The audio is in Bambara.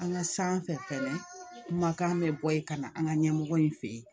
An ka sanfɛ fɛnɛ kumakan bɛ bɔ yen ka na an ka ɲɛmɔgɔ in fɛ yen